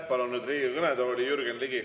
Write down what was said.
Palun nüüd Riigikogu kõnetooli Jürgen Ligi.